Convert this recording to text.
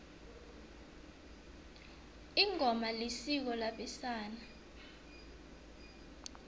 ingoma isiko labesana